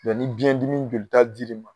ni biyɛndimi jolita dir'i ma